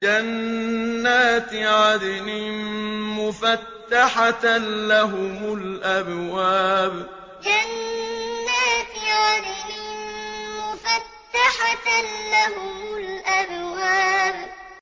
جَنَّاتِ عَدْنٍ مُّفَتَّحَةً لَّهُمُ الْأَبْوَابُ جَنَّاتِ عَدْنٍ مُّفَتَّحَةً لَّهُمُ الْأَبْوَابُ